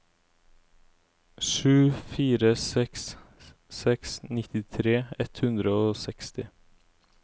sju fire seks seks nittitre ett hundre og seksti